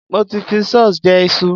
Mo ti fi sauce jẹ iṣu.